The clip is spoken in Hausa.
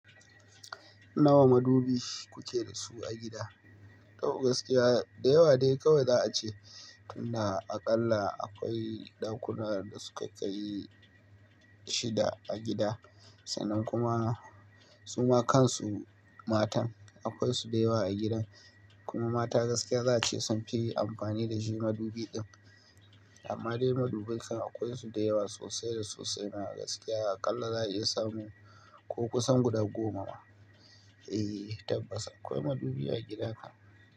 Nawa madubi kuke da su a gida? To gaskiya, da yawa dai kawai za a ce, inda aƙalla akwai ɗakuna da su ka kai shida a gida, sannan kuma suma kansu matan akwai su da yawa a gidan. Kuma mata gaskiya za a ce sun fi amfani da shi madubi din. Amma dai madubai kan akwai su da yawa sosai da sosai. A gaskiya, aƙalla za a iya samu, ko kusan guda goma. Eh, tabbas akwai madubi a gida kam.